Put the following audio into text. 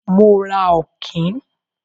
Mo ra Ọ̀kín.